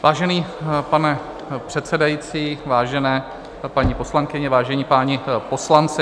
Vážený pane předsedající, vážené paní poslankyně, vážení páni poslanci.